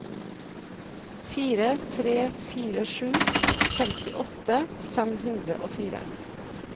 fire tre fire sju femtiåtte fem hundre og fire